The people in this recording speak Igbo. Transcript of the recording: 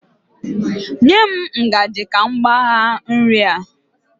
Nye m ngaji ka m kpagha nri a